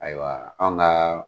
Ayiwa anw ka